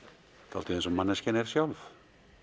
dálítið eins og manneskjan er sjálf